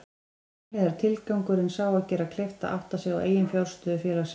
Samhliða er tilgangurinn sá að gera kleift að átta sig á eiginfjárstöðu félagsins.